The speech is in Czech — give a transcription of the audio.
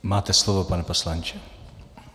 Máte slovo, pane poslanče.